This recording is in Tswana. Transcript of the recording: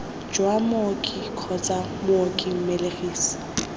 jwa mooki kgotsa mooki mmelegisi